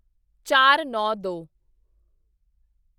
ਚਾਰਨੌਂਦੋ